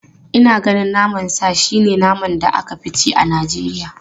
Ina ganin naman sa shi ne naman da aka fi ci a Najeriya.